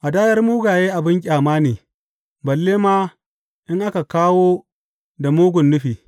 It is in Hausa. Hadayar mugaye abin ƙyama ne, balle ma in aka kawo da mugun nufi!